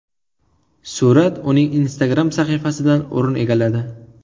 Surat uning Instagram sahifasidan o‘rin egalladi .